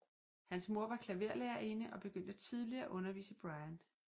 Hans mor var klaverlærerinde og begyndte tidligt at undervise Brian